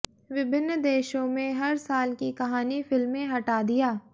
विभिन्न देशों में हर साल की कहानी फिल्में हटा दिया